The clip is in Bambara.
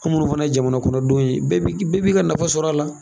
Komi olu fana ye jamana kɔnɔdenw ye, bɛɛ bi bɛɛ bi ka nafa sɔrɔ la.